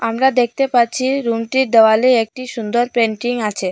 আমরা দেকতে পাচ্চি রুম -টির দেওয়ালে একটি সুন্দর পেইন্টিং আচে।